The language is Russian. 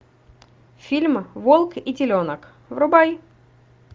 фильм волк и теленок врубай